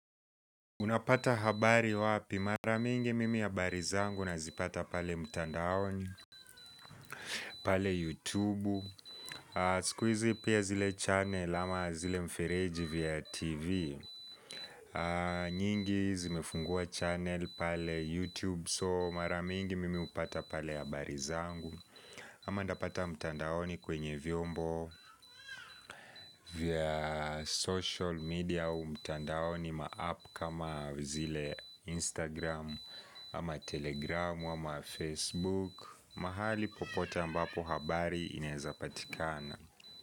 Unapata habari wapi maramingi mimi ya habari zangu na zipata pale mtandaoni, pale youtube, sikuizi pia zile channel ama zile mfereji via tv nyingi zimefungua channel pale youtube so maramingi mimi upata pale habari zangu ama nitapata mtandaoni kwenye vyombo via social media au mtandaoni ma app kama zile Instagram ama Telegram ama Facebook. Mahali popote ambapo habari inaezapatikana.